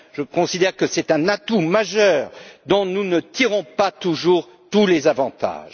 Je considère que c'est un atout majeur dont nous ne tirons pas toujours tous les avantages.